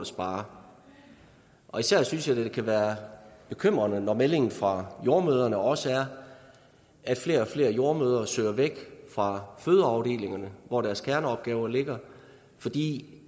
spare især synes jeg det kan være bekymrende når meldingen fra jordemødrene også er at flere og flere jordemødre søger væk fra fødeafdelingerne hvor deres kerneopgaver ligger fordi